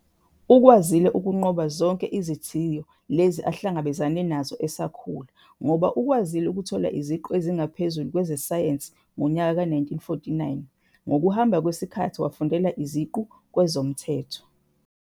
Ukwazile ukunqoba zonke izithiyo lezi ahlangabezene nazo esakhula ngoba ukwazile ukuthola isiqu esiphezulu kwezeSayensi ngonyaka ka-1949 ngokuhamaba kwesikhathi wafundela isiqu kweZomthetho.